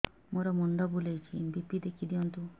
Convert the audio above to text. ମୋର ମୁଣ୍ଡ ବୁଲେଛି ବି.ପି ଦେଖି ଦିଅନ୍ତୁ